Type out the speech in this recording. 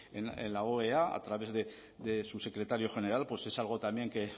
en la oea a través de su secretario general pues es algo también que